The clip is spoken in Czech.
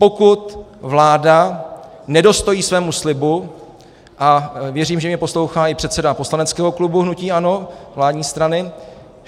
Pokud vláda nedostojí svému slibu - a věřím, že mě poslouchá i předseda poslaneckého klubu hnutí ANO, vládní strany...